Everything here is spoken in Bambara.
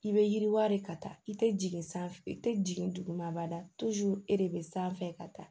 I bɛ yiriwari ka taa i tɛ jigin sanfɛ i tɛ jigin duguma ba la e de bɛ sanfɛ ka taa